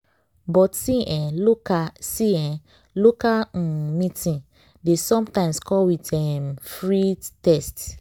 but see eh local see eh local um meeting dey sometimes come um with free test.